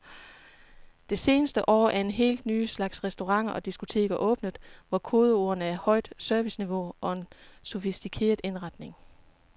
Det seneste år er en helt ny slags restauranter og diskoteker åbnet, hvor kodeordene er højt serviceniveau og en sofistikeret indretning.